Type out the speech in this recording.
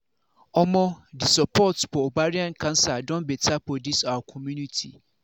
omo the support for ovarian cancer don better for this our community